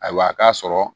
Ayiwa k'a sɔrɔ